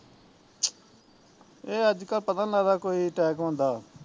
ਇਹ ਅੱਜ ਕੱਲ ਪਤਾ ਨੀ ਲਗ਼ਦਾ ਕੋਈ ਟੈਕ ਹੁੰਦਾ